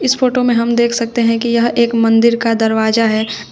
इस फोटो में हम देख सकते है कि यह एक मंदिर का दरवाज़ा है।